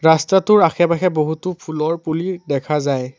ৰাস্তাটোৰ আশে পাশে বহুতো ফুলৰ পুলি দেখা যায়।